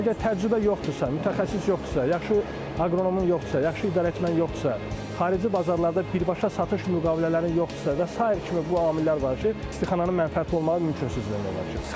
Əgər təcrübə yoxdursa, mütəxəssis yoxdursa, yaxşı aqronomun yoxdursa, yaxşı idarəetmən yoxdursa, xarici bazarlarda birbaşa satış müqavilələrinin yoxdursa və sair kimi bu amillər var ki, istixananın mənfəətli olması mümkünsüzdür demək olar ki.